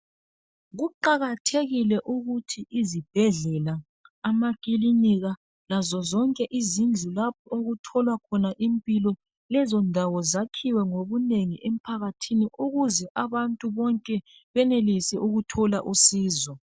Kuqakathekile ukuthi izibhedlela, amakilinika lazo zonke izindlu lapho okutholwa khona impilo ,lezo ndawo zakhiwe ngobunengi emphakathini ukuze abantu bonke benelise ukuthola usizo.